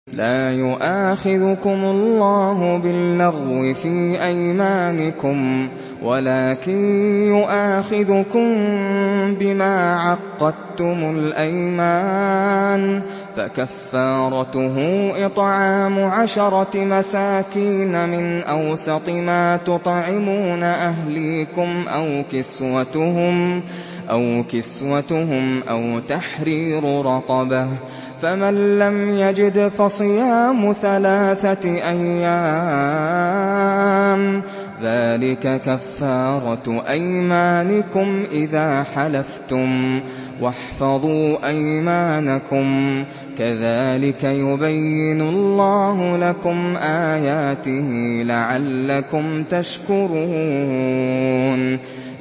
لَا يُؤَاخِذُكُمُ اللَّهُ بِاللَّغْوِ فِي أَيْمَانِكُمْ وَلَٰكِن يُؤَاخِذُكُم بِمَا عَقَّدتُّمُ الْأَيْمَانَ ۖ فَكَفَّارَتُهُ إِطْعَامُ عَشَرَةِ مَسَاكِينَ مِنْ أَوْسَطِ مَا تُطْعِمُونَ أَهْلِيكُمْ أَوْ كِسْوَتُهُمْ أَوْ تَحْرِيرُ رَقَبَةٍ ۖ فَمَن لَّمْ يَجِدْ فَصِيَامُ ثَلَاثَةِ أَيَّامٍ ۚ ذَٰلِكَ كَفَّارَةُ أَيْمَانِكُمْ إِذَا حَلَفْتُمْ ۚ وَاحْفَظُوا أَيْمَانَكُمْ ۚ كَذَٰلِكَ يُبَيِّنُ اللَّهُ لَكُمْ آيَاتِهِ لَعَلَّكُمْ تَشْكُرُونَ